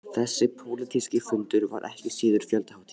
Þessi pólitíski fundur var ekki síður fjöldahátíð